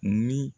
Ni